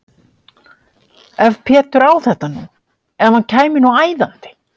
Ef Pétur á þetta nú. ef hann kæmi nú æðandi!